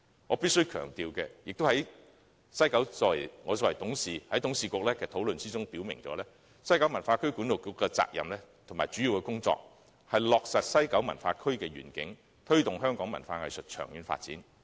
我必須強調，我作為西九管理局的董事，我在董事局的討論中表明，西九管理局的責任和主要工作是落實西九文化區的願景，推動香港文化藝術的長遠發展。